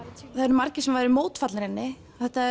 margir mótfallnir henni